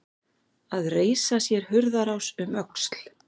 Að reisa sér hurðarás um öxl